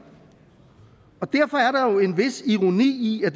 og jo en vis ironi at